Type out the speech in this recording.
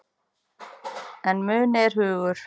En muni er hugur.